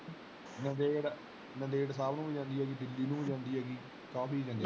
ਨੰਦੇੜ ਨੰਦੇੜ ਸਾਹਿਬ ਨੂੰ ਵੀ ਜਾਂਦੇ ਹੈਗੀ ਦਿੱਲੀ ਨੂੰ ਵੀ ਜਾਂਦੀ ਹੈਗੀ ਕਾਫੀ ਜਾਂਦੀਆਂ।